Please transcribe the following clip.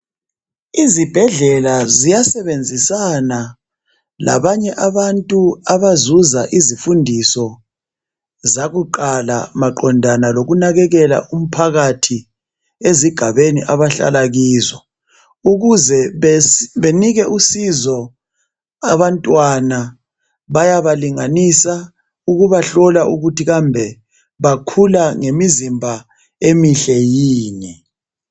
izibhedlela ziyasebenzisan labanye abantu abazuza izifundiso zakuqala maqondana lokunakekela umphakathi ezigabeni abahlala kizo ukuze benike usizo abantwana bayabalinganisa ukubahlola ukuthi kambe bakhula ngemizimba emihle yini